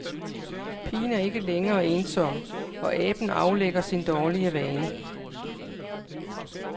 Pigen er ikke længere ensom, og aben aflægger sin dårlige vane.